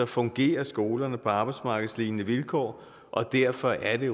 fungerer skolerne på arbejdsmarkedslignende vilkår og derfor er det